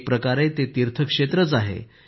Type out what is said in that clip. ते एक प्रकारे तीर्थक्षेत्रच आहे